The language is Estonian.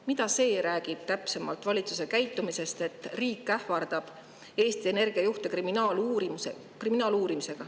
Mida see räägib täpsemalt valitsuse käitumisest, kui riik ähvardab Eesti Energia juhte kriminaaluurimisega?